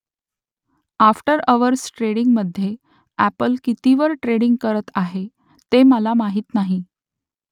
after hours ट्रेडिंगमध्ये Apple कितीवर trading करत आहे ते मला माहीत नाही